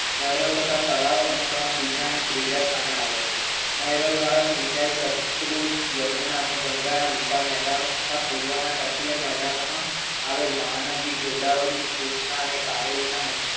સરોવર તથા તળાવો અનુક્રમે બીજા નંબરે ત્રીજા સ્થાને આવે છે નહેરો દ્વારા સિંચાઈ યમુના અને ગંગાના વિશાળ મેદાનો તથા મેદાનો માં આવેલ મહા નદી ગોદાવરી કૃષ્ણ અને કાવેરીના